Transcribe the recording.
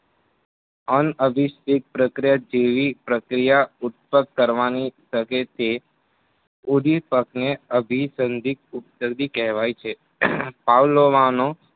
અનઅભીસિદ્ધ પ્રક્રિયા જેવી પ્રક્રિયા ઉત્પાક કરવાની શકે તે ઉંધીપગને અભિછંદીત ઉપદરડી કહેવાય છે. પાવલોવાનો